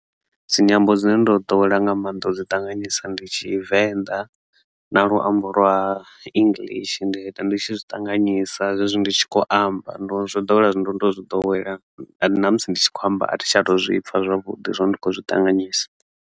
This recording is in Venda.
Dzinyambo dzine ndo ḓowela nga maanḓa u dzi ṱanganyisa ndi Tshivenḓa na luambo lwa English ndi uita ndi tshi zwi ṱanganyisa zwezwi ndi tshi kho amba ndo zwo ḓowela zwi ndo to zwi ḓowela na musi ndi tshi kho amba athi shata zwipfa zwavhuḓi zwori ndi khou zwi ṱanganyisa.